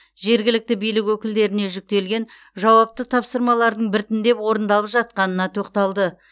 жергілікті билік өкілдеріне жүктелген жауапты тапсырмалардың біртіндеп орындалып жатқанына тоқталды